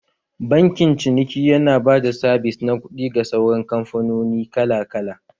Bankin ciniki yana ba da sabis na kuɗi ga sauran kamfanoni kala kala